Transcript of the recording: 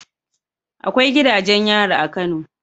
Akwai gidajen yari a kano